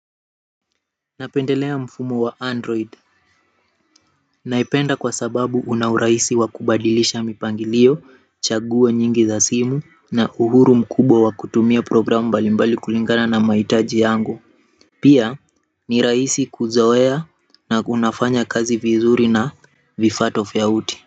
Napendelea mfumo wa android naipenda kwa sababu una urahisi wa kubadilisha mipangilio, chaguo nyingi za simu na uhuru mkubwa wa kutumia programu mbali mbali kulingana na mahitaji yangu pia ni rahisi kuzoea na unafanya kazi vizuri na vifaa tofauti.